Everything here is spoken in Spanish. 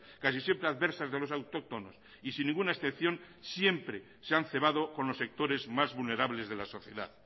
casi siempre adversas de los autóctonos y sin ninguna excepción siempre se han cebado con los sectores más vulnerables de la sociedad